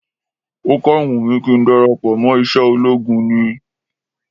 Ó kàn wùn mí kí n darapọ̀ mọ́ iṣẹ́ ológun ni